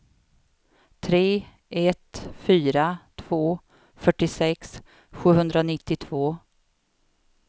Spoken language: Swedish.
tre ett fyra två fyrtiosex sjuhundranittiotvå